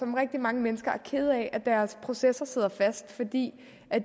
rigtig mange mennesker er kede af at deres processer sidder fast altså fordi